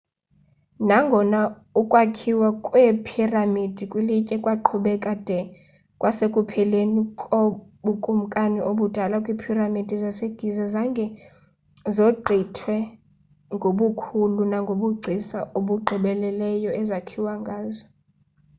nangona ukwakhiwa kweephiramidi kwilitye kwaqhubeka de kwasekupheleni kobukumkani obudala iiphiramidi zasegiza zange zogqithwe ngobukhulu nangobugcisa obugqibeleleyo ezakhiwa ngazo